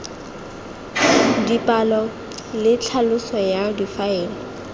dipalo le tlhaloso ya difaele